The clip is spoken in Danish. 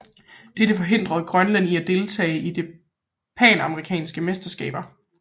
Dette forhindrede Grønland i at deltage i det panamerikanske mesterskaber